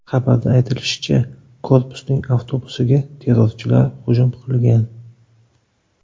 Xabarda aytilishicha, korpusning avtobusiga terrorchilar hujum qilgan.